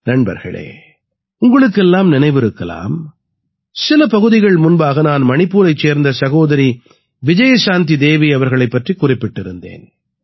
நண்பர்களே உங்களுக்கெல்லாம் நினைவிருக்கலாம் சில பகுதிகள் முன்பாக நான் மணிப்பூரைச் சேர்ந்த சகோதரி விஜயசாந்தி தேவி அவர்களைப் பற்றிக் குறிப்பிட்டிருந்தேன்